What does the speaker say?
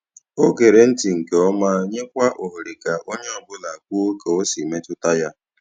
O gere ntị nke ọma, nyekwa ohere ka onye ọ bụla kwuo ka o si mmetụta ya.